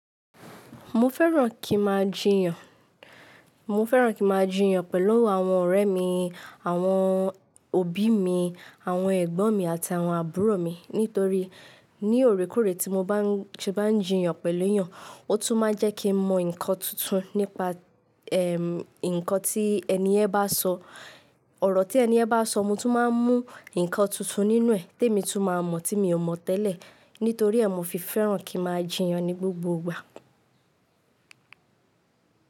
Mo fẹ́ràn kí n màá jiyàn, mo fẹ́ràn kí màá jiyàn pẹ̀lú àwọn ọ̀rẹ́ mi, àwọn òbí mi, àwọn ẹ̀gbọ́n mi àti àwọn àbúrò mi. Nítorí ní óòrèkóòrè tí mo bá ń ṣe bá ń jiyàn pẹ̀lú èèyàn, ó tún má n jẹ́ kí n mọ nkan tuntun nípa, ẹm, nkan tí ẹniyen bá sọ, ọ̀rọ̀ tí ẹniyen bá sọ. Mo tún máa ń mú nkan tuntun nínú ẹ̀, té mi tún máa mọ̀ tí mi ò mọ̀ tẹ́lẹ̀. Nítorí ẹ́, mo fi fẹ́ràn kí màá jiyàn ní gbogbo ìgbà.